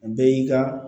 Bɛɛ y'i ka